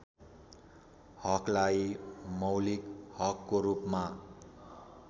हकलाई मौलिक हकको रूपमा